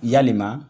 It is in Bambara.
Yalima